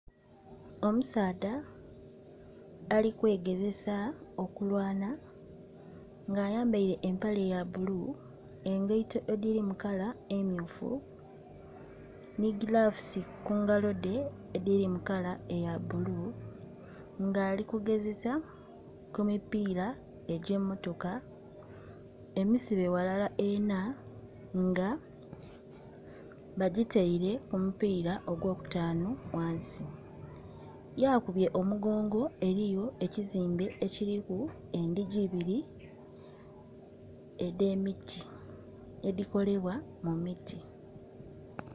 Omusaadha ali kwe gezesa okulwana nga ayambaire empale ya bbulu, engaito edhiri mu kala emyufu nhi giravusi ku ngalo dhe edhiri mu kala eya bbulu, nga ali ku gezesa ku mipiira egye motoka emisibe ghalala ena nga ba gitaire ku mupira ogwo kutanu ghansi. Yaakubye omugongo eriyo ekizimbe ekiriku endhigi ibiri edhe miti edhi kolebwa mu miti.